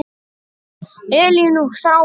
Elín og Þráinn.